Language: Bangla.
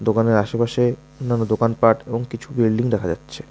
ওখানের আশেপাশে অন্যান্য দোকানপাট এবং কিছু বিল্ডিং দেখা যাচ্ছে।